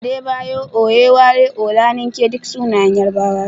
Adebayo, Oyewale, Olanike duk sunayen Yarbawa ne.